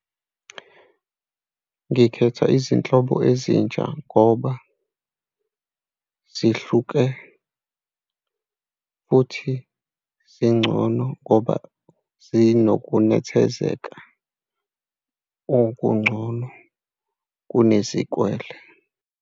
Ngikhetha izinhlobo ezintsha ngoba zihluke, futhi zingcono, ngoba zinokunethezeka okungcono kunesikwele.